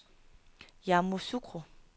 Yamoussoukro